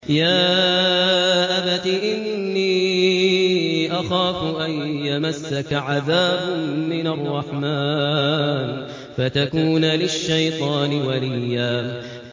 يَا أَبَتِ إِنِّي أَخَافُ أَن يَمَسَّكَ عَذَابٌ مِّنَ الرَّحْمَٰنِ فَتَكُونَ لِلشَّيْطَانِ وَلِيًّا